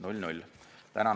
Tänan!